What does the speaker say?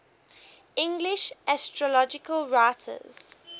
english astrological writers